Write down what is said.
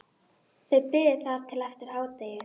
Þau biðu þar til eftir hádegi.